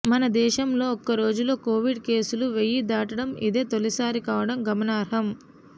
మన దేశంలో ఒక్క రోజులో కోవిడ్ కేసులు వెయ్యి దాటడం ఇదే తొలిసారి కావడం గమనార్హం